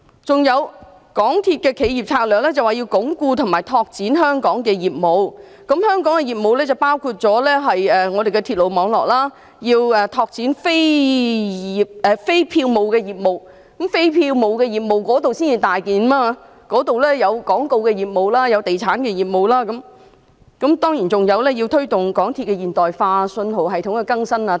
此外，港鐵公司的企業策略說要鞏固及拓展香港的業務，包括鐵路網絡、拓展非票務的業務，而非票務的業務是一個大範圍，當中包括廣告業務及地產業務，當然，還有推動鐵路現代化及信號系統更新等。